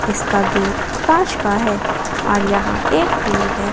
इसका गेट कांच का है और यहां एक टूल है।